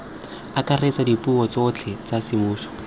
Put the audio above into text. akaretsa dipuo tsotlhe tsa semmuso